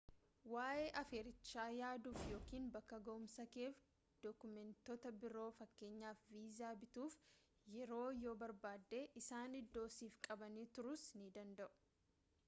waa’ee affeerrichaa yaaduuf ykn bakka ga’umsakeef dookumentoota biroofkn. viizaa bituuf yeroo yoo barbaadde isaan iddoo siif qabanii turuus ni danda’u